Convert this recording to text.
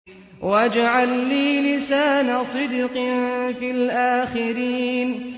وَاجْعَل لِّي لِسَانَ صِدْقٍ فِي الْآخِرِينَ